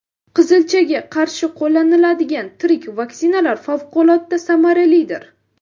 Qizilchaga qarshi qo‘llaniladigan tirik vaksinalar favqulodda samaralidir.